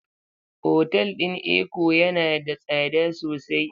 Otal din Eko yana da tsada sosai.